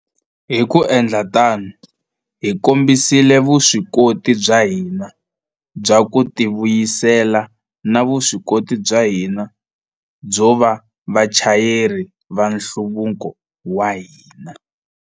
Hi ku endla tano, hi kombisile vuswikoti bya hina bya ku tivuyisela na vuswikoti bya hina byo va vachayeri va nhluvuko wa hina.